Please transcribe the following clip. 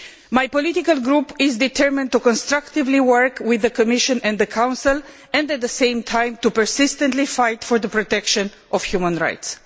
My political group is determined to constructively work with the Commission and the Council and, at the same time, to persistently fight for the protection of human rights.